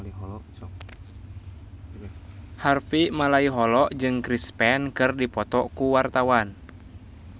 Harvey Malaiholo jeung Chris Pane keur dipoto ku wartawan